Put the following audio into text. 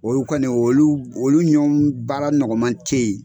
Oyu kɔni olu olu ɲɔn baara nɔgɔman te ye